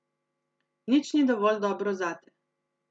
Nič ni dovolj dobro zate.